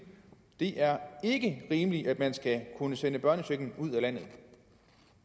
det er ikke rimeligt at man skal kunne sende børnechecken ud af landet